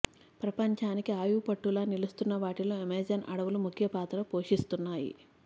ప్రపంచానికి ఆయువుపట్టులా నిలుస్తున్న వాటిల్లో అమెజాన్ అడవులు ముఖ్య పాత్రలు పోషిస్తున్నాయి